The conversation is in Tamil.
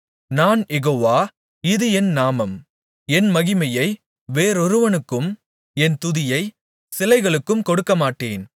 நான் யெகோவா இது என் நாமம் என் மகிமையை வேறொருவனுக்கும் என் துதியை சிலைகளுக்கும் கொடுக்கமாட்டேன்